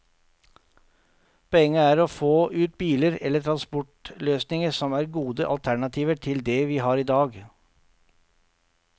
Poenget er å få ut biler eller transportløsninger som er gode alternativer til det vi har i dag.